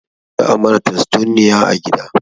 Za a mana tastunniya a gida